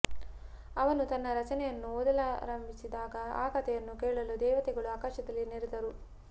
ಅವನು ತನ್ನ ರಚನೆಯನ್ನು ಓದಲಾಂಭಿಸಿದಾಗ ಆ ಕಥೆಯನ್ನು ಕೇಳಲು ದೇವತೆಗಳು ಆಕಾಶದಲ್ಲಿ ನೆರೆದರು